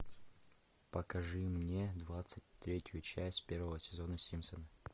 покажи мне двадцать третью часть первого сезона симпсоны